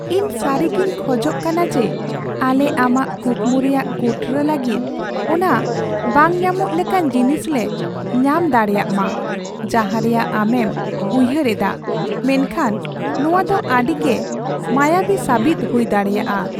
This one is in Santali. ᱤᱧ ᱥᱟᱹᱨᱤᱜᱮᱧ ᱠᱷᱳᱡᱚᱜ ᱠᱟᱱᱟ ᱡᱮ ᱟᱞᱮ ᱟᱢᱟᱜ ᱠᱩᱠᱢᱩ ᱨᱮᱭᱟᱜ ᱠᱩᱴᱨᱟᱹ ᱞᱟᱹᱜᱤᱫ ᱚᱱᱟ ᱵᱟᱝ ᱧᱟᱢᱚᱜ ᱞᱮᱠᱟᱱ ᱡᱤᱱᱤᱥ ᱞᱮ ᱧᱟᱢ ᱫᱟᱲᱮᱭᱟᱜ ᱢᱟ ᱡᱟᱦᱟᱸ ᱨᱮᱭᱟᱜ ᱟᱢᱮᱢ ᱩᱭᱦᱟᱹᱨ ᱮᱫᱟ ᱢᱮᱱᱠᱷᱟᱱ ᱱᱚᱣᱟ ᱫᱚ ᱟᱹᱰᱤᱜᱮ ᱢᱟᱭᱟᱵᱤ ᱥᱟᱹᱵᱤᱫ ᱦᱩᱭ ᱫᱟᱲᱮᱭᱟᱜᱼᱟ ᱾